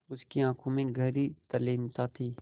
उसकी आँखों में गहरी तल्लीनता थी